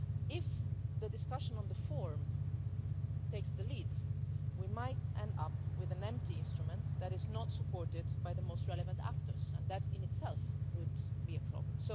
If the discussion on the forum takes the lead, we might end up with an empty instrument that is not supported by the most relevant actors, and that in itself would be a problem.